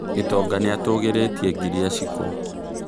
Gitonga nĩatũgerĩtie ngiria Shiku